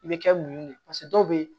I bɛ kɛ mun ye paseke dɔw be yen